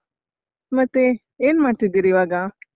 ಮತ್ತೆ, ಏನ್ ಮಾಡ್ತಿದ್ದಿರಿ ಇವಾಗ?